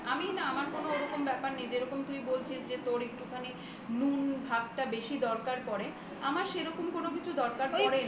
আমি না আমার না ওরকম কোনো ব্যাপার নেই যেরকম তুই বলছিস যে তোর একটুখানিটা বেশি দরকার পড়ে আমার সেরকম কোন কিছুর দরকার পরেনা